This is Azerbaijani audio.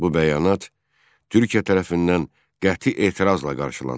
Bu bəyanat Türkiyə tərəfindən qəti etirazla qarşılandı.